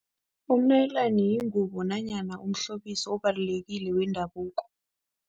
Umnayilani yingubo nanyana umhlobiso obalulekile wendabuko.